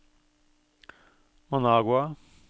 Managua